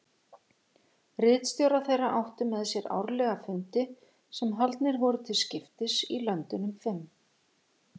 Ritstjórar þeirra áttu með sér árlega fundi sem haldnir voru til skiptis í löndunum fimm.